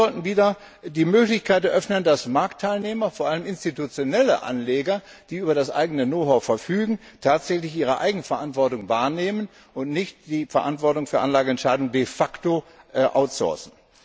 Wir sollten wieder die Möglichkeit eröffnen, dass Marktteilnehmer, vor allem institutionelle Anleger, die über eigenes Know how verfügen, tatsächlich ihre Eigenverantwortung wahrnehmen und nicht die Verantwortung für Anlageentscheidungen de facto outsourcen.